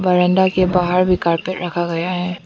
बरंदा के बाहर भी कारपेट रखा गया है।